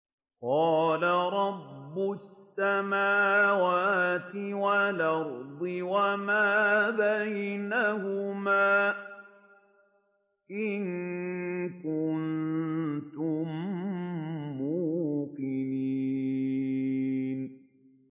قَالَ رَبُّ السَّمَاوَاتِ وَالْأَرْضِ وَمَا بَيْنَهُمَا ۖ إِن كُنتُم مُّوقِنِينَ